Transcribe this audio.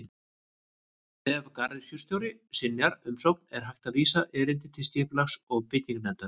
Ef garðyrkjustjóri synjar umsókn er hægt að vísa erindi til Skipulags- og bygginganefndar.